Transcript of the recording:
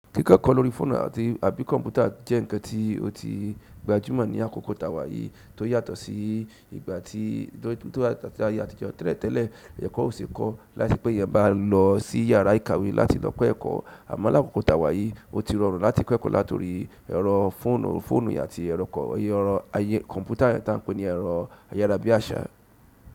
Kíkọ́ ekọ́ lórí fóònù àti àbí kọ̀mpútà jẹ́ ǹkan tí ó ti gbajúmọ̀ ní àkókò tà wá yíi tó yàtọ̀ sí ìgbà tí tó yàtọ̀ sí ayé àtijọ́. Tẹ́lẹ̀ tẹ́lẹ̀, ẹkọ́ ò ṣe kọ́ láìse pé ẹeyan bá lọ sí yàrá ìkàwé láti lọ kọ́ ẹ̀kọ́. Àmo là ákókò tàwáyí, ó ti rọrùn láti kọ́ ẹ̀kọ́ látori ẹ̀rọ fóònù fóònù àti ẹ̀rọ kọ̀ erọ̀ ayé kọ̀mpútà taǹ pe ní ẹ̀rọ ayára bí àṣá.